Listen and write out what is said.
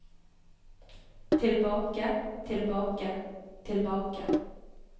tilbake tilbake tilbake